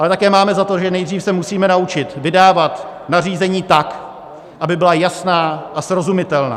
Ale také máme za to, že nejdřív se musíme naučit vydávat nařízení tak, aby byla jasná a srozumitelná.